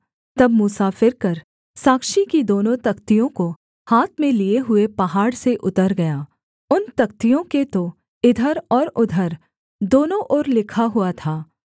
तब मूसा फिरकर साक्षी की दोनों तख्तियों को हाथ में लिये हुए पहाड़ से उतर गया उन तख्तियों के तो इधर और उधर दोनों ओर लिखा हुआ था